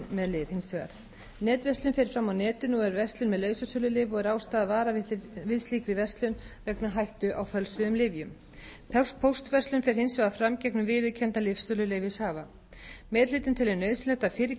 hins vegar netverslun fer fram á netinu og er verslun með lausasölulyf og er ástæða að vara við slíkri verslun vegna hættu á fölsuðum lyfjum póstverslun fer hins vegar fram gegnum viðurkenndan lyfsöluleyfishafa meiri hlutinn telur nauðsynlegt að fyrir